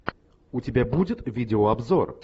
у тебя будет видеообзор